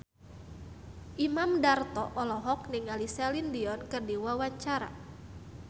Imam Darto olohok ningali Celine Dion keur diwawancara